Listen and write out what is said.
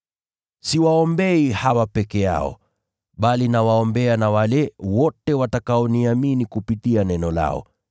“Siwaombei hawa peke yao, bali nawaombea na wale wote watakaoniamini kupitia neno lao